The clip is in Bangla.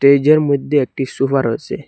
স্টেজের মধ্যে একটি সুফা রয়েসে।